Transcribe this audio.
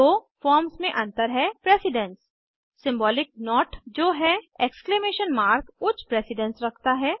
दो फॉर्म्स मे अंतर है प्रेसिडन्स सिंबॉलिक नोट जो है उच्च प्रेसिडन्स रखता है